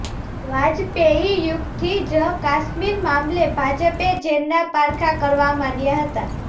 વાજપેયી યુગથી જ કાશ્મીર મામલે ભાજપે ઝેરનાં પારખાં કરવા માંડ્યાં હતાં